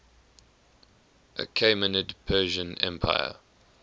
achaemenid persian empire